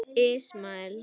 Ismael